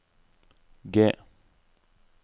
G